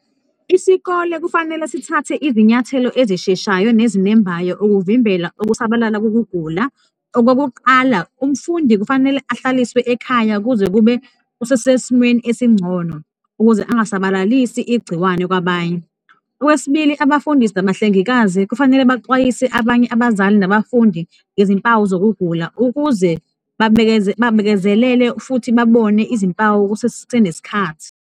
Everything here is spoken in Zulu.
Isikole kufanele sithathe izinyathelo ezisheshayo nezinembayo ukuvimbela ukusabalala kukugula. Okokuqala, umfundi kufanele ahlaliswe ekhaya kuze kube usesesimeni esingcono ukuze angasabalalisi igciwane kwabanye. Okwesibili, abafundisi nabahlengikazi kufanele baxwayise abanye abazali nabafundi ngezimpawu zokugula ukuze babekezelele futhi babone izimpawu kusesenesikhathi.